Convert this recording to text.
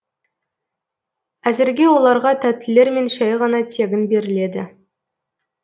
әзірге оларға тәттілермен шәй ғана тегін беріледі